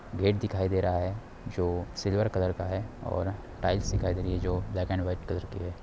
Gate दिखाई दे रहा है जो सिल्वर कलर का है और टाइल्स दिखाई दे रही है जो ब्लैक एंड वाइट कलर की है।